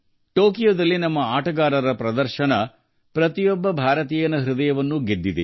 ಟೋಕಿಯೊದಲ್ಲಿ ನಮ್ಮ ಆಟಗಾರರ ಪ್ರದರ್ಶನವು ಪ್ರತಿಯೊಬ್ಬ ಭಾರತೀಯನ ಹೃದಯವನ್ನು ಗೆದ್ದಿದೆ